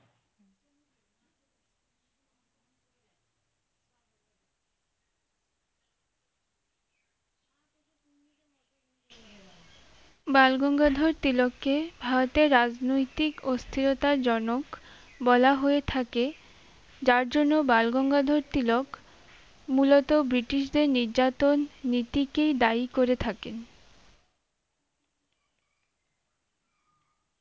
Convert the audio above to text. বাল গঙ্গাধর তিলককে ভারতের রাজনৈতিক অস্থিরতা জনক বলা হয়ে থাকে যার জন্য বালগঙ্গাধর তিলক মুলত ব্রিটিশ দের নির্জাতন নীতী কেই দায়ী করে থাকেন